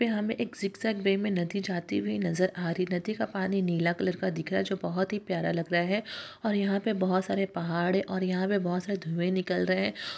यहाँ पे हमें एक जिकजैक वे में नदी जाती हुयी नजर आ रही है नदी का पानी नीला कलर का दिख रहा है जो बहोत ही प्यारा लग रहा है और यहाँ पे बहोत सारे पहाड़ और यहाँ पे बहोत सारे धुवे निकल रहे हैं।